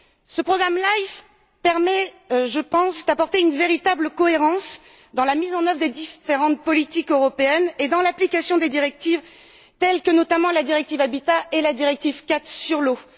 Le programme LIFE permet d'apporter une véritable cohérence dans la mise en œuvre des différentes politiques européennes et dans l'application des directives, telles que la directive Habitat et la directive cadre sur l'eau.